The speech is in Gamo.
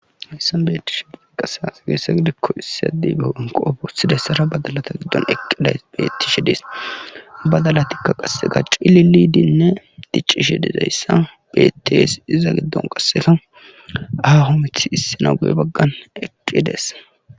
hayssan beettishe di qasas geessa gidikko issi adiigeenqoofo sidayssara badalata giddon eqqiday bettishe dees badalatikka qasseka cili lidinne diccishe didayssa betties iza giddon qasseka aaho mithiya issina guye baggan eqqidees